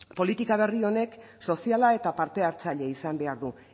politika berri horrek soziala eta parte hartzailea izan behar du